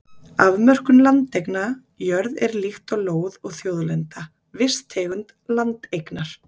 Afmörkun landeigna Jörð er líkt og lóð og þjóðlenda, viss tegund landeignar.